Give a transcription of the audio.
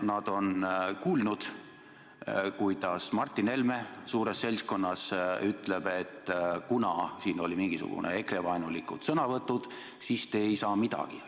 Nad on kuulnud, kuidas Martin Helme suures seltskonnas ütleb, et kuna siin olid mingisugused EKRE-vaenulikud sõnavõtud, siis te ei saa midagi.